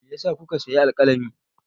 Me ya sa kuka sayi alƙalami?